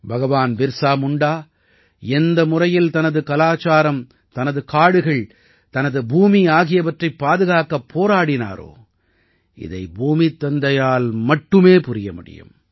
பகவான் பிர்ஸா முண்டா எந்த முறையில் தனது கலாச்சாரம் தனது காடுகள் தனது பூமி ஆகியவற்றைப் பாதுகாக்க போராடினாரோ இதை பூமித் தந்தையால் மட்டுமே புரிய முடியும்